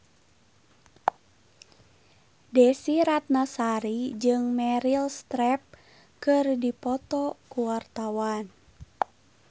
Desy Ratnasari jeung Meryl Streep keur dipoto ku wartawan